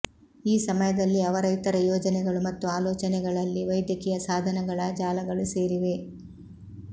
ಈ ಸಮಯದಲ್ಲಿ ಅವರ ಇತರ ಯೋಜನೆಗಳು ಮತ್ತು ಆಲೋಚನೆಗಳಲ್ಲಿ ವೈದ್ಯಕೀಯ ಸಾಧನಗಳ ಜಾಲಗಳು ಸೇರಿವೆ